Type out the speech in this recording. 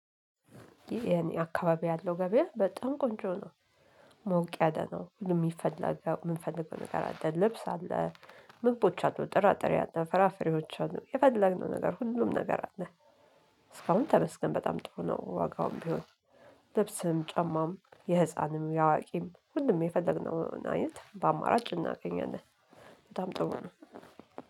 የኔ አካባቢ ያለው ገበያ በጣም ቆንጆ ነው። ሞቅ ያለ ነው ምንም ሚፈልገው የምንፈልገው ነገር አለ ልብስ አለ። ምግቦች አሉ ጥራጥሬ አለ ፍራፍሬዎች አሉ የፈለግነው ነገር ሁሉም ነገር አለ። እስካሁን ተመስገን በጣም ጥሩ ነው ዋጋውም ቢሆን። ልብስም ጫማም የህፃንም የአዋቂም ሁሉም የፈለግነው አይነት በአማራጭ እናገኘናለን። በጣም ጥሩ ነው